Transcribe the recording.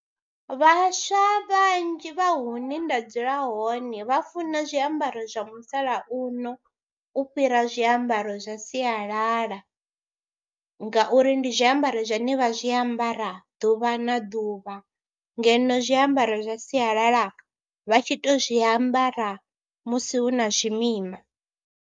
Vhaswa vhanzhi vha hune nda dzula hone vha funa zwiambaro zwa musalauno u fhira zwiambaro zwa sialala ngauri ndi zwiambaro zwine vha zwi ambara ḓuvha na ḓuvha ngeno zwiambaro zwa sialala vha tshi tou zwiambara musi hu na zwimima.